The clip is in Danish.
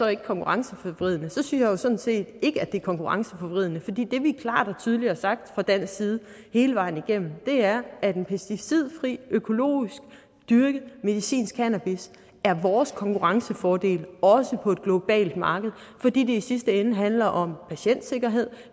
er konkurrenceforvridende så synes jeg jo sådan set ikke at det er konkurrenceforvridende fordi det vi klart og tydeligt har sagt fra dansk side hele vejen igennem er at en pesticidfri økologisk dyrket medicinsk cannabis er vores konkurrencefordel også på et globalt marked fordi det i sidste ende handler om patientsikkerhed